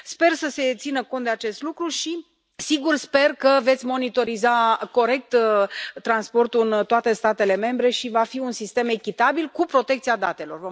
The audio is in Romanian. Sper să se țină cont de acest lucru și, sigur, sper că veți monitoriza corect transportul în toate statele membre și că va fi un sistem echitabil cu protecția datelor.